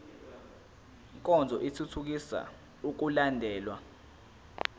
nkonzo ithuthukisa ukulandelwa